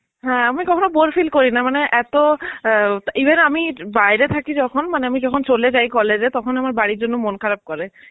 হ্যাঁ, আমি কখনো bore feel করিনা মানে এত আ even আমি বাইরে থাকে যখন মানে আমি যখন চলে যাই college এ তখন আমার বাড়ির জন্যে মন খারাপ করে.